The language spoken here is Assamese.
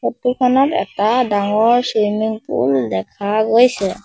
ফটো খনত এটা ডাঙৰ চুইমিং পুল দেখা গৈছে।